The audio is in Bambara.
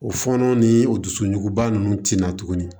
O fɔɔnɔ ni o dusuɲuguba nunnu tɛna tuguni